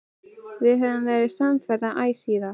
Við höfum verið samferða æ síðan.